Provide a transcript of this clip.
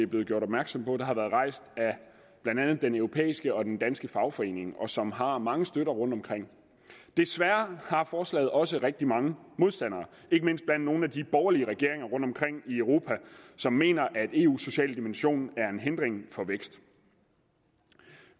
blevet gjort opmærksom på der har været rejst blandt andet af den europæiske og den danske fagforening og som har mange støtter rundtomkring desværre har forslaget også rigtig mange modstandere ikke mindst blandt nogle af de borgerlige regeringer rundtomkring i europa som mener at eus sociale dimension er en hindring for vækst